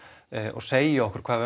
og segja okkur hvað